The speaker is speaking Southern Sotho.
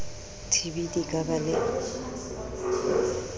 tb di ka ba le